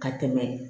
Ka tɛmɛ